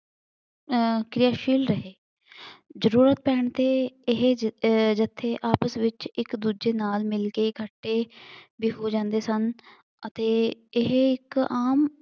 ਅਮ ਕਿਰਿਆਸ਼ੀਲ ਰਹੇ ਜ਼ਰੂਰਤ ਪੈਣ ਤੇ ਇਹ ਜ ਇਹ ਜੱਥੇ ਆਪਸ ਵਿੱਚ ਇੱਕ ਦੂਜੇ ਨਾਲ ਮਿਲਕੇ ਇਕੱਠੇ ਵੀ ਹੋ ਜਾਂਦੇ ਸਨ ਅਤੇ ਇਹ ਇੱਕ ਆਮ